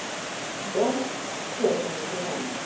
дом с черными котами